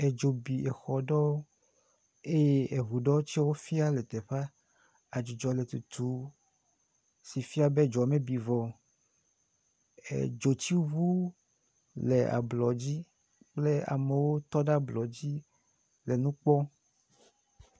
Edzo bi exɔ ɖewo eye eŋu ɖewo tsewo fia le teƒea, adzudzɔ nɔ tutum si fia be edzoa metu vɔ o, edzotsiŋu le ablɔdzi kple amewo tɔ ɖe ablɔ dzi le nu kpɔm.